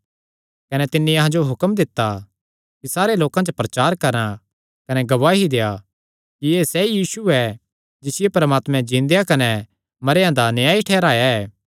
कने तिन्नी अहां जो हुक्म दित्ता कि सारे लोकां च प्रचार करा कने गवाही देआ कि एह़ सैई यीशु ऐ जिसियो परमात्मैं जिन्देया कने मरेयां दा न्यायी ठैहराया ऐ